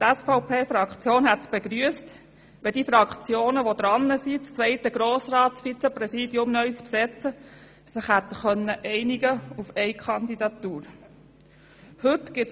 Die SVP-Fraktion hätte es begrüsst, wenn die Fraktionen, die an der Reihe sind, das zweite Grossratsvizepräsidium neu zu besetzen, sich auf eine Kandidatur hätten einigen können.